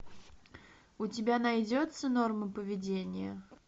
у тебя найдется нормы поведения